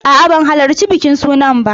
A'a, ban halarci bikin suna ba.